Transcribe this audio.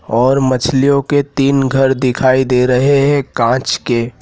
और मछलियों के तीन घर दिखाई दे रहे हैं कांच के।